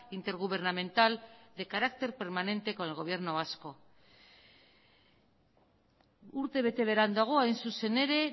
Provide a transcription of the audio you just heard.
intergubernamental de carácter permanente con el gobierno vasco urte bete beranduago hain zuzen ere